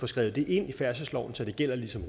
skrevet ind i færdselsloven så det gælder ligesom